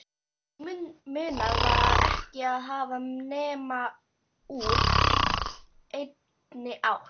Og munað var ekki að hafa nema úr einni átt